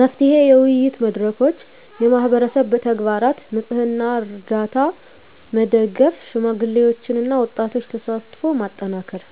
መፍትሄ: የውይይት መድረኮች፣ የማህበረሰብ ተግባራት (ንፅህና፣ ርዳታ) መደገፍ፣ የሽማግሌዎችና የወጣቶች ተሳትፎን ማጠናከር።